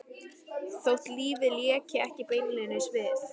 Þótt lífið léki ekki beinlínis við